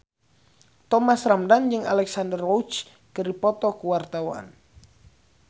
Thomas Ramdhan jeung Alexandra Roach keur dipoto ku wartawan